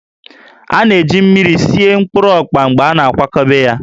A na-eji mmiri sie mkpụrụ ọkpa mgbe a na-akwadebe ya